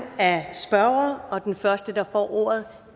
af spørgere og den første der får ordet